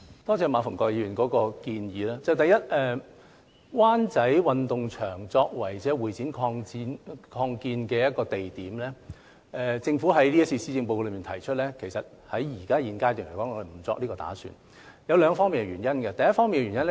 多謝馬逢國議員提出建議，第一，對於將灣仔運動場作為會展擴建用地的建議，政府在今次施政報告中提出，其實在現階段沒有這個打算，當中有兩個原因。